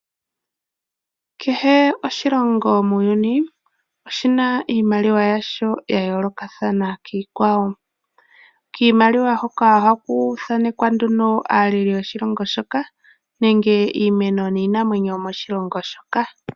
Kehe oshilongo muuyuuni oshina iimaliwa yasho yayoolokathana kiikwawo. Kiimaliwa hoka ohaku thanekwa aaleli yoshilongo shoka nenge iimeno niinamwenyo yoshilongo shoka.